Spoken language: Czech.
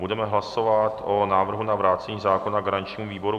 Budeme hlasovat o návrhu na vrácení zákona garančnímu výboru.